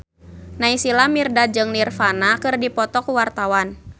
Naysila Mirdad jeung Nirvana keur dipoto ku wartawan